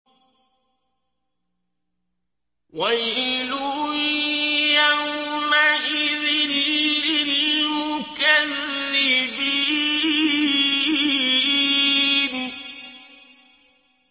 وَيْلٌ يَوْمَئِذٍ لِّلْمُكَذِّبِينَ